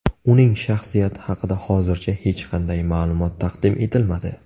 Uning shaxsiyati haqida hozircha hech qanday ma’lumot taqdim etilmadi.